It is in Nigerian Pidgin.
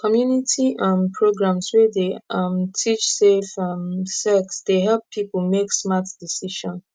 community um programs wey dey um teach safe um sex dey help people make smart decision